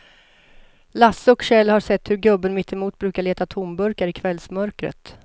Lasse och Kjell har sett hur gubben mittemot brukar leta tomburkar i kvällsmörkret.